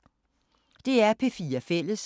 DR P4 Fælles